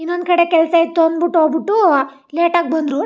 ಇನ್ನೊಂದ್ ಕಡೆ ಕೆಲ್ಸ್ ಇತ್ತು ಅನ್ನಬಿಟ್ಟು ಹೋಗ್ ಬಿಟ್ಟು ಲೇಟಾ ಗಿ ಬಂದ್ರು --